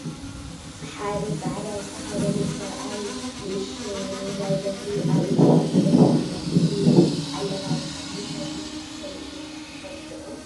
ሓደ ፃዕዳ ዝተኸደነ ሰብኣይ ንኡሽተይ ውርውራይ በትሪ ኣብ ኢዱ ሒዙ ይርአ ኣሎ፡፡ እዚ ኣለባብሳ ኣብ ምንታይ ኩነታት ከምዝዝውተር ትፈልጡ ዶ?